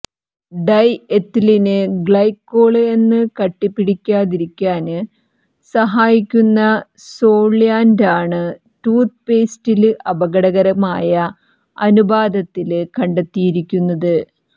dye എത്ത്ലീന് glycol എന്ന കട്ടി പിടിക്കാതിരിക്കാന് സഹായിക്കുന്ന സോള്വന്റാണ് ടൂത്ത് പേസ്റ്റില് അപകടകരമായ അനുപാതത്തില് കണ്ടെത്തിയിരിക്കുന്നത്